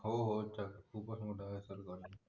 हो हो चाल तो पण मोठा असलं बरं